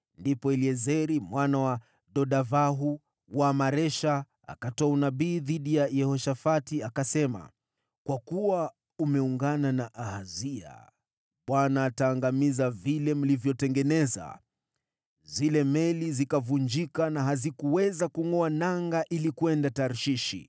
Ndipo Eliezeri mwana wa Dodavahu wa Maresha akatoa unabii dhidi ya Yehoshafati, akasema, “Kwa kuwa umeungana na Ahazia, Bwana ataangamiza vile mlivyotengeneza.” Zile meli zikavunjika na hazikuweza kungʼoa nanga ili kwenda Tarshishi.